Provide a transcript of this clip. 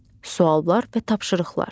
Suallar və tapşırıqlar.